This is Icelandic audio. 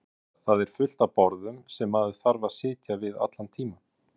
Viðar: Það er fullt af borðum sem maður þarf að sitja við allan tímann.